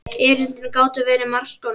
Erindin gátu verið margs konar.